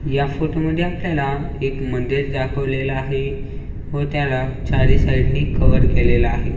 या फोटो मध्ये आपल्याला एक मंदिर दाखवलेलं आहे व त्याला चारी साइडनी कवर केलेलं आहे.